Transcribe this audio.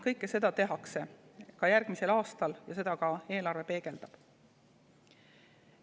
Kõike seda tehakse ka järgmisel aastal ja seda eelarve peegeldab.